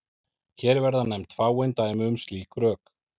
Hér verða nefnd fáein dæmi um slík rök.